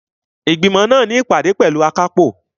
Ìgbìmọ̀ máa ní ìpàdé pẹ̀lú akápò.